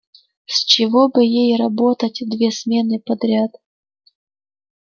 с чего бы ей работать две смены подряд